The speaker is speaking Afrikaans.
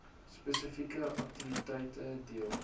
spesifieke aktiwiteite deel